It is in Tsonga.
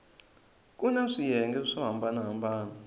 kuna swiyenge swo hambana hambana